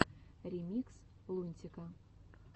ремикс лунтика